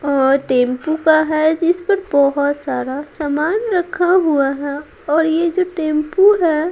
और टेंपू का है इस पर बहुत सारा सामान रखा हुआ है और ये जो टैंपू है।